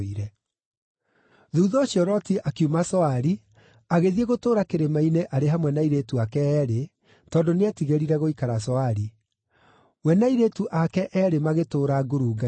Thuutha ũcio Loti akiuma Zoari, agĩthiĩ gũtũũra kĩrĩma-inĩ arĩ hamwe na airĩtu ake eerĩ, tondũ nĩetigĩrire gũikara Zoari. We na airĩtu ake eerĩ magĩtũũra ngurunga-inĩ.